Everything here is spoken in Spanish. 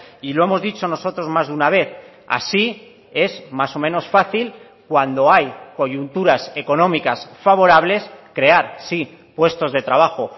y lo hemos dicho nosotros más de una vez así es más o menos fácil cuando hay coyunturas económicas favorables crear sí puestos de trabajo